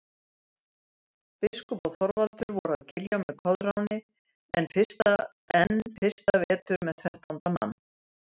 Biskup og Þorvaldur voru að Giljá með Koðráni enn fyrsta vetur með þrettánda mann.